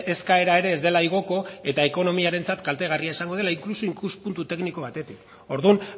eskaera ere ez dela igoko eta ekonomiarentzat kaltegarria izango dela inkluso ikuspuntu tekniko batetik orduan